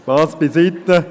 Spass beiseite.